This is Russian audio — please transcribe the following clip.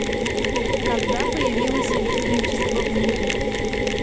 когда появилось электричество в мире